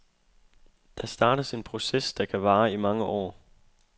Der startes en proces, der kan vare i mange år.